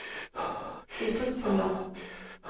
uttrykksfulle